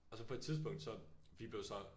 Og så på et tidspunkt så vi blev så